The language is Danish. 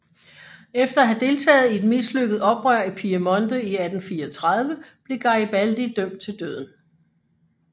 Efter at have deltaget i et mislykket oprør i Piemonte i 1834 blev Garibaldi dømt til døden